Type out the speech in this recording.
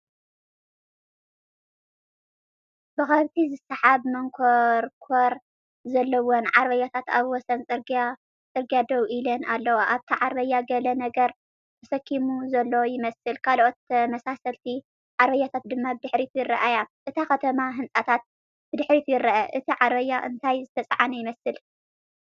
ብከብቲ ዝስሓባ መንኰርኰር ዘለወን ዓረብያታት ኣብ ወሰን ጽርግያ ደው ኢለን ኣለዋ። ኣብታ ዓረብያ ገለ ነገር ተሰኪሙ ዘሎ ይመስል፡ ካልኦት ተመሳሰልቲ ዓረብያታት ድማ ብድሕሪት ይረኣያ። እታ ከተማን ህንጻታትን ብድሕሪት ይርአ። እቲ ዓረብያ እንታይ ዝተጻዕነ ይመስል?